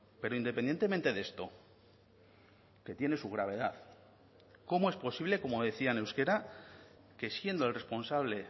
pero independientemente de esto que tiene su gravedad cómo es posible como decía en euskera que siendo el responsable